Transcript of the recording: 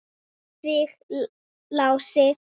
Ég elska þig, Lási.